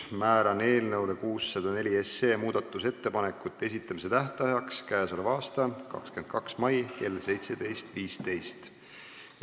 Määran eelnõu 604 muudatusettepanekute esitamise tähtajaks k.a 22. mai kell 17.15.